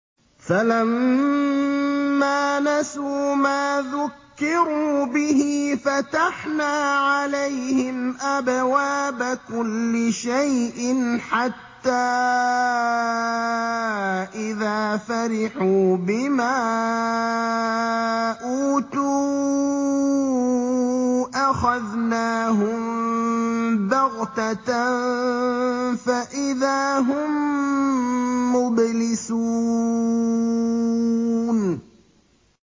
فَلَمَّا نَسُوا مَا ذُكِّرُوا بِهِ فَتَحْنَا عَلَيْهِمْ أَبْوَابَ كُلِّ شَيْءٍ حَتَّىٰ إِذَا فَرِحُوا بِمَا أُوتُوا أَخَذْنَاهُم بَغْتَةً فَإِذَا هُم مُّبْلِسُونَ